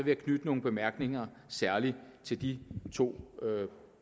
jeg knytte nogle bemærkninger særlig til de to